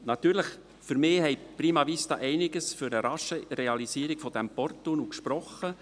Für mich hat prima vista einiges für die rasche Realisierung des Porttunnels gesprochen.